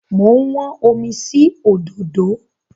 Mo ń wọ́n omi sí òdòdó.